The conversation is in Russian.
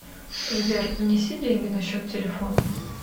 сбер внеси деньги на счет телефона